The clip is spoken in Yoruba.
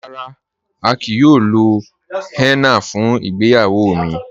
Rárá, à kíí yòò lò hénnà fún ìgbéyàwó mi..